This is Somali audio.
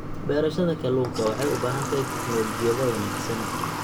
Beerashada kalluunka waxay u baahan tahay tignoolajiyada wanaagsan.